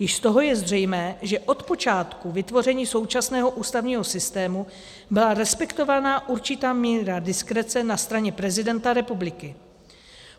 Již z toho je zřejmé, že od počátku vytvoření současného ústavního systému byla respektována určitá míre diskrece na straně prezidenta republiky.